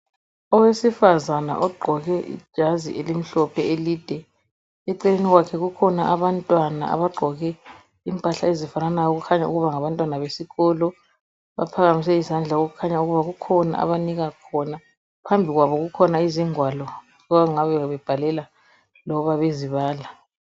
Owesifazana ogqoke ijazi ezimhlophe elide. Eceleni kwakhe kukhona abantwana abagqoke impahla ezifananayo okukhanya ukuba ngabantwana besikolo. Baphakamise izandla okukhanya ukuba kukhona abanika khona. Phambi kwabo kukhona izingwalo okungabe bebhalela noma bezibala.